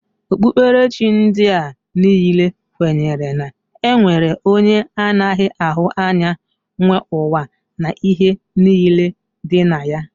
Okpukperechi ndị a niile kwenyere na e nwere onye anaghị ahụ anya nwe ụwa na ihe niile dị na ya